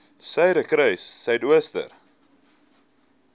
suiderkruissuidooster